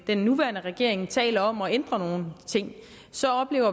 den nuværende regering taler om at ændre nogle ting så oplever